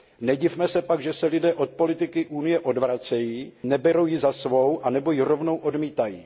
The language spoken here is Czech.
Nedivme se pak, že se lidé od politiky Unie odvracejí, neberou ji za svou anebo ji rovnou odmítají.